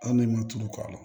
An de ma tulu k'a la